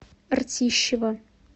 ртищево